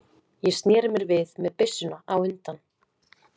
Ég sneri mér við með byssuna á undan.